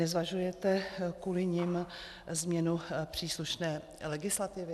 Nezvažujete kvůli nim změnu příslušné legislativy?